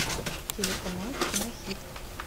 телеканал кинохит